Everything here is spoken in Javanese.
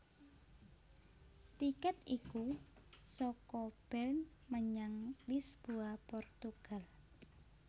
Tikèt iku saka Bern menyang Lisboa Portugal